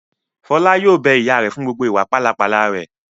Fọlá yóò bẹ ìyá rẹ̀ fún gbogbo ìwà pálapàla rẹ̀!